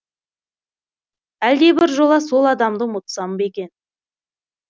әлде бір жола сол адамды ұмытсам ба екен